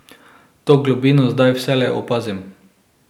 To globino zdaj vselej opazim.